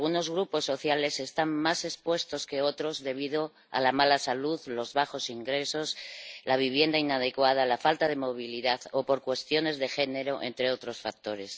Algunos grupos sociales están más expuestos que otros debido a la mala salud, los bajos ingresos, la vivienda inadecuada, la falta de movilidad o por cuestiones de género, entre otros factores.